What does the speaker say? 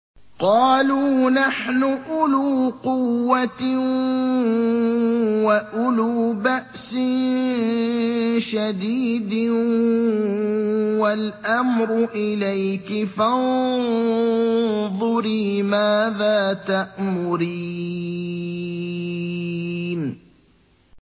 قَالُوا نَحْنُ أُولُو قُوَّةٍ وَأُولُو بَأْسٍ شَدِيدٍ وَالْأَمْرُ إِلَيْكِ فَانظُرِي مَاذَا تَأْمُرِينَ